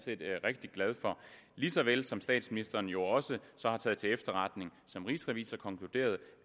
rigtig glad for lige så vel som at statsministeren jo også har taget til efterretning som rigsrevisor konkluderede